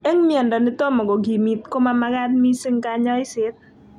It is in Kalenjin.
Eng' miondo netomo kokimit ko mamagat mising kanyoiset